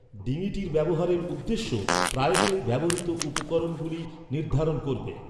ডিঙিটির ব্যবহারের উদ্দেশ্য প্রায়শই ব্যবহৃত উপকরণগুলি নির্ধারণ করবে।